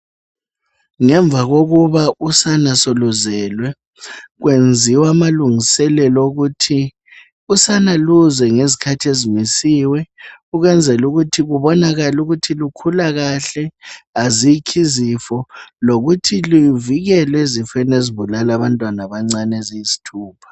Ngemva kokuthi usana seluzelwe kwenziwa amalungiselelo okuthi usana luze ngezikhathi ezimisiwe ukwenzela ukuthi kubonakale ukuthi lukhula kahle azikho izifo lokuthi luvikelwe kuzifo ezibulala abantwana abancani eziyisthupha